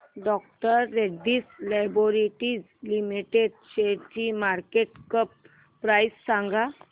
डॉ Reddy's laboratories limited शेअरची market cap price सांगा